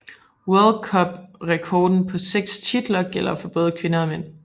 World Cup rekorden på seks titler gælder for både kvinder og mænd